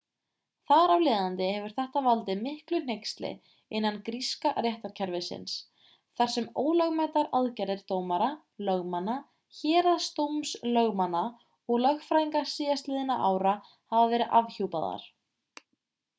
þar af leiðandi hefur þetta valdið miklu hneyksli innan gríska réttarkerfisins þar sem ólögmætar aðgerðir dómara lögmanna héraðsdómslögmanna og lögfræðinga síðastliðinna ára hafa verið afhjúpaðar